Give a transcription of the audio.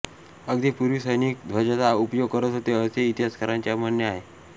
अगदी पूर्वी सैनिक ध्वजाचा उपयोग करत होते असे इतिहासकारांचे म्हणणे आहे